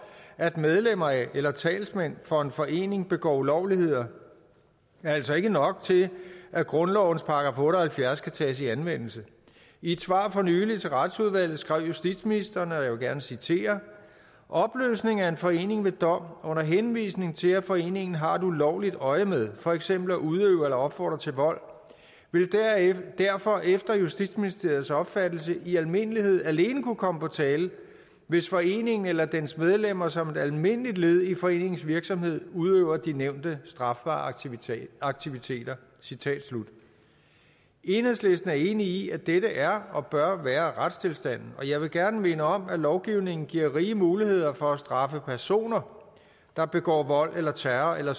at medlemmer af eller talsmænd for en forening begår ulovligheder er altså ikke nok til at grundlovens § otte og halvfjerds skal tages i anvendelse i et svar for nylig til retsudvalget skrev justitsministeren følgende og jeg citerer opløsning af en forening ved dom under henvisning til at foreningen har et ulovligt øjemed for eksempel at udøve eller opfordre til vold vil derfor efter justitsministeriets opfattelse i almindelighed alene kunne komme på tale hvis foreningen eller dens medlemmer som et almindeligt led i foreningens virksomhed udøver de nævnte strafbare aktiviteter aktiviteter enhedslisten er enig i at dette er og bør være retstilstanden og jeg vil gerne minde om at lovgivningen giver rige muligheder for at straffe personer der begår vold eller terror eller